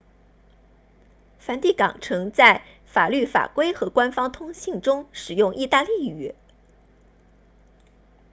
梵蒂冈城在法律法规和官方通信中使用意大利语